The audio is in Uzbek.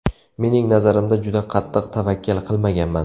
Mening nazarimda juda qattiq tavakkal qilmaganman.